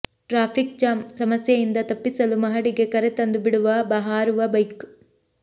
traffic jam ಸಮಸ್ಯೆಯಿಂದ ತಪ್ಪಿಸಲು ಮಹಡಿಗೆ ಕರೆತಂದು ಬಿಡುವ ಹಾರುವ ಬೈಕ್